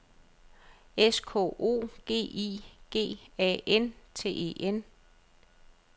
S K O G I G A N T E N